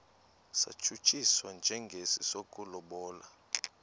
satshutshiswa njengesi sokulobola